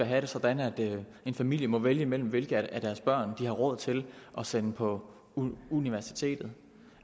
have det sådan at en familie må vælge mellem hvilket af deres børn de har råd til at sende på universitetet